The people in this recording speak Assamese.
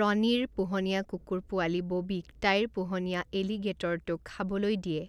ৰণীৰ পোহনীয়া কুকুৰ পোৱালি ববীক তাইৰ পোহনীয়া এলিগেটৰটোক খাবলৈ দিয়ে।